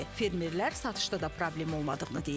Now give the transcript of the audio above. Fermerlər satışda da problem olmadığını deyirlər.